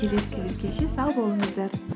келесі кездескенше сау болыңыздар